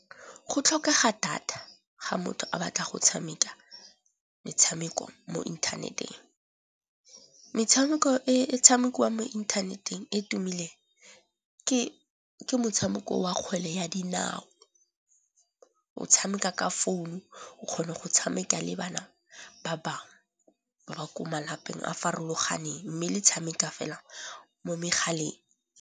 Go tlhokega data ga motho a batla go tshameka metshameko mo inthaneteng. Metshameko e tshamekiwang mo inthaneteng e tumileng ke motshameko wa kgwele ya dinao, o tshameka ka founu o kgona go tshameka le bana ba bangwe ba ba ko malapeng a a farologaneng mme le tshameka fela mo megaleng.